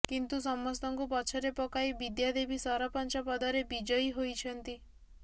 କିନ୍ତୁ ସମସ୍ତଙ୍କୁ ପଛରେ ପକାଇ ବିଦ୍ୟାଦେବୀ ସରପଞ୍ଚ ପଦରେ ବିଜୟୀ ହୋଇଛନ୍ତି